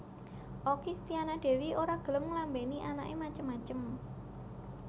Okky Setiana Dewi ora gelem nglambeni anak e macem macem